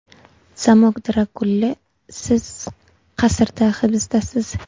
Zamok Drakuli Siz qasrda hibisdasiz.